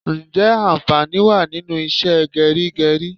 Ǹjẹ́ anfani wá nínú ìṣe geri geri?